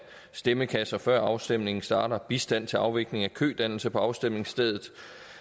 stemmekasser før afstemningen starter bistand til afvikling af kødannelse på afstemningsstedet